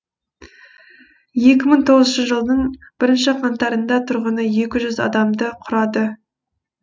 екі мың тоғызыншы жылдың бірінші қаңтарында тұрғыны екі жүз адамды құрады